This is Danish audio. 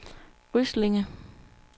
Ryslinge